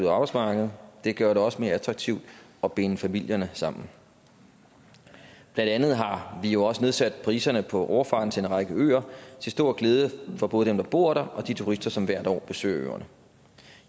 og arbejdsmarkedet det gør det også mere attraktivt at binde familierne sammen blandt andet har vi jo også nedsat priserne på overfarten til en række øer til stor glæde for både dem der bor der og de turister som hvert år besøger øerne